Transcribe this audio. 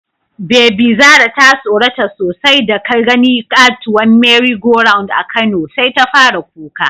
Bebi Zara ta tsorata sosai datagani katuwar "merry go round" a Kano, sai ta fara kuka.